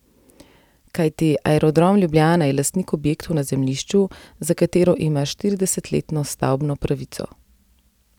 Kajti Aerodrom Ljubljana je lastnik objektov na zemljišču, za katero ima štiridesetletno stavbno pravico.